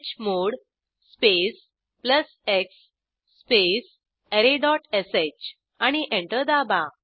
chmod space plus x space arrayश आणि enter दाबा